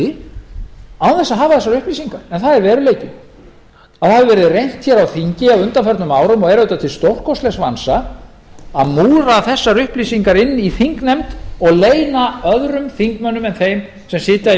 án þess að hafa þessar upplýsingar það er veruleikinn það hefur verið reynt hér á þingi á undanförnum árum og er auðvitað til stórkostlegs vansa að múra þessar upplýsingar inni í þingnefnd og leyna aðra þingmenn en þá s á sitja í